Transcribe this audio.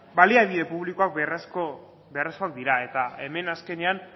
baliabide publikoak beharrezkoak dira eta hemen azkenean